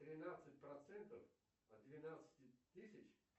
тринадцать процентов от двенадцати тысяч